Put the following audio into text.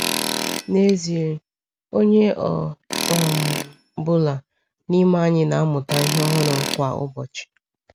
N'ezie, onye ọ um bụla n’ime anyị na-amụta ihe ọhụrụ kwa ụbọchị.